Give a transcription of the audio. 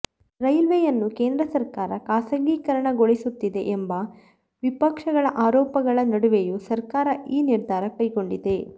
ರೈಲ್ವೆಯನ್ನು ಕೇಂದ್ರ ಸರ್ಕಾರ ಖಾಸಗೀಕರಣಗೊಳಿಸುತ್ತಿದೆ ಎಂಬ ವಿಪಕ್ಷಗಳ ಆರೋಪಗಳ ನಡುವೆಯೂ ಸರ್ಕಾರ ಈ ನಿರ್ಧಾರ ಕೈಗೊಂಡಿದೆ